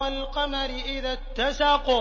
وَالْقَمَرِ إِذَا اتَّسَقَ